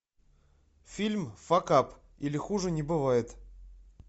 фильм факап или хуже не бывает